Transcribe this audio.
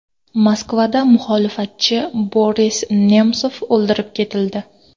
Moskvada muxolifatchi Boris Nemsov o‘ldirib ketildi.